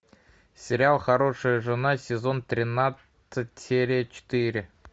сериал хорошая жена сезон тринадцать серия четыре